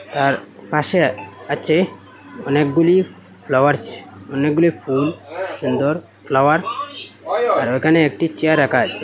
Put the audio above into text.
তার পাশে আর আছে অনেকগুলি ফ্লাওয়ার্স অনেকগুলি ফুল সুন্দর ফ্লাওয়ার আর ওখানে একটি চেয়ার রাখা আছে।